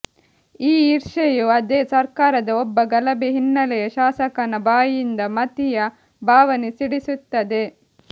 ಈ ಈರ್ಷೆಯು ಅದೇ ಸರ್ಕಾರದ ಒಬ್ಬ ಗಲಭೆ ಹಿನ್ನೆಲೆಯ ಶಾಸಕನ ಬಾಯಿಂದ ಮತೀಯ ಭಾವನೆ ಸಿಡಿಸುತ್ತದೆ